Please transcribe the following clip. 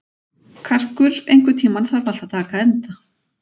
Karkur, einhvern tímann þarf allt að taka enda.